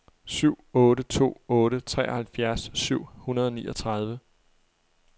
syv otte to otte treoghalvfjerds syv hundrede og niogtredive